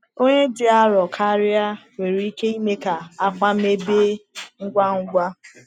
Onye dị arọ karịa nwere ike ime ka akwa mebie ngwa ngwa.